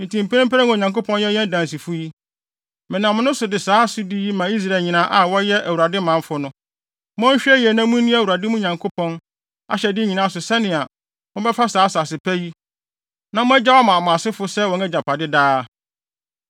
“Enti mprempren a Onyankopɔn yɛ yɛn dansifo yi, menam wo so de saa asodi yi ma Israel nyinaa a wɔyɛ Awurade manfo no: Monhwɛ yiye na munni Awurade, mo Nyankopɔn, ahyɛde nyinaa so sɛnea mobɛfa saa asase pa yi, na moagyaw ama mo asefo sɛ wɔn agyapade daa.